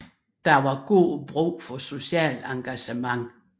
Der var god brug for socialt engagement